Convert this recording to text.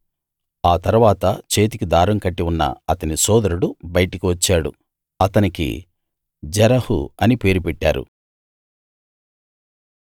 ఆ తరువాత చేతికి దారం కట్టి ఉన్న అతని సోదరుడు బయటికి వచ్చాడు అతనికి జెరహు అని పేరు పెట్టారు